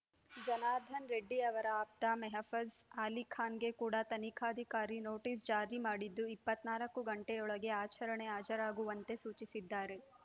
ಜನಾರ್ದನ ರೆಡ್ಡಿ ಅವರ ಆಪ್ತ ಮೆಹಫಜ್‌ ಅಲಿಖಾನ್‌ಗೆ ಕೂಡ ತನಿಖಾಧಿಕಾರಿ ನೋಟಿಸ್‌ ಜಾರಿ ಮಾಡಿದ್ದು ಇಪ್ಪತ್ತ್ ನಾಲ್ಕು ಗಂಟೆಯೊಳಗೆ ವಿಚಾರಣೆಗೆ ಹಾಜರಾಗುವಂತೆ ಸೂಚಿಸಿದ್ದಾರೆ